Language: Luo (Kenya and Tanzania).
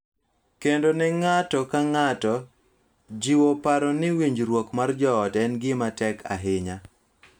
Kendo ne ng�ato ka ng�ato, jiwo paro ni winjruok mar joot en gima tek ahinya .